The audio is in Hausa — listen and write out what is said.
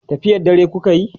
tafiyar dare kukayi?